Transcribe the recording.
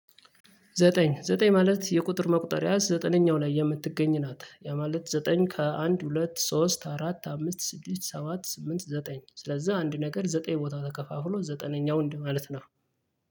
ዘጠኝ ዘጠኝ ማለት የቁጥር መቁጠሪያ ዘጠነኛው ላይ የምትገኝ ናት። ያ ማለት ዘጠኝ ከአንድ ሁለት ሶስት አራት አምስት ስድስት ሰባት ስምንት ዘጠኝ ስለዛ አንድ ነገር ዘጠኝ ቦታ ተከፋፍሎ ዘጠነኛው እንዲህ ማለት ነው።